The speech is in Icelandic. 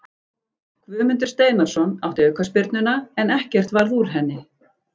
Guðmundur Steinarsson átti aukaspyrnuna en ekkert varð úr henni.